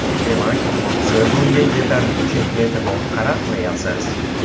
Demak, siz unga yetarlicha e’tibor qaratmayapsiz.